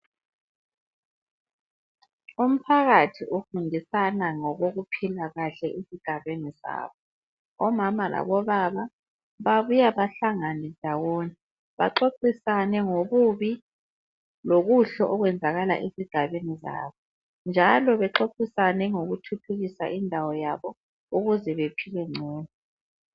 Umphakathi ufundisana ngokokuphila kahle ezigabeni zabo. Omama labobaba babuya bahlangane ndawonye baxoxisane ngobubi lobuhle obenzakala ezigabeni zabo, njalo bexoxisane ngokuthuthukisa indawo yabo ukuze bephile ngcono.